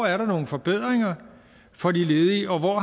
er nogle forbedringer for de ledige og hvor